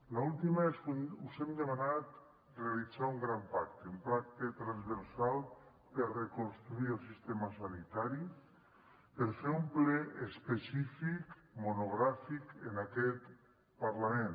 l’última que us hem demanat realitzar un gran pacte un pacte transversal per reconstruir el sistema sanitari per fer un ple específic monogràfic en aquest parlament